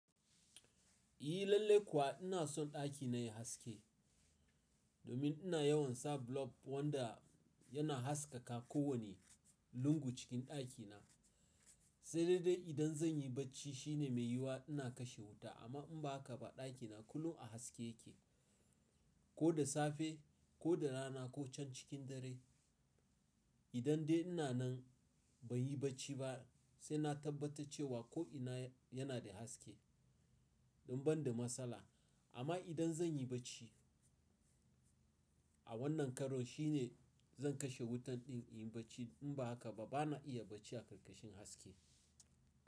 Eh lallai kuwa ina son ɗakina yayi haske domin ina yawan sa blob wanda yana haskaka kowane lungu cikin ɗakina, sai dai idan zan yi barci shine mai yiwuwa ina kashe wuta amma in ba haka ba ɗakina kullum a haske yake ko da safe ko da rana ko can cikin dare. Idan dai ina nan ban yi barci ba sai na tabbata cewa ko'ina yana da haske in ban da matsala amma idan zan yi barci a wannan karon shine zan kashe wutan ɗin in yi barci in ba haka ba bana iya barci a ƙarƙashin haske.